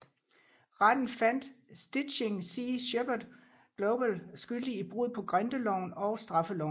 Retten fandt Stichting Sea Shepherd Global skyldig i brud på grindeloven og straffeloven